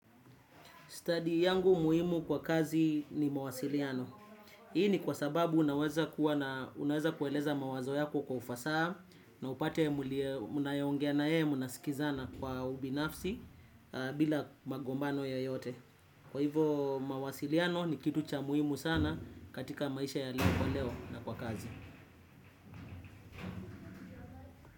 Study yangu muhimu kwa kazi ni mawasiliano. Hii ni kwa sababu unaweza kuwa na unaweza kueleza mawazo yako kwa ufasaa na upate mnayeongea naye munasikizana kwa ubinafsi bila magombano yoyote. Kwa hivo mawasiliano ni kitu cha muhimu sana katika maisha ya leo kwa leo na kwa kazi.